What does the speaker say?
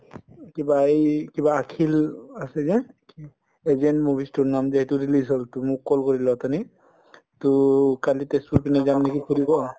কিবা এই কিবা আছে যে agent movies টোৰ নাম যে সেইটো release হল to মোক call কৰিলে অথনি to কালি তেজপুৰ পিনে যাওঁ নেকি সুধিব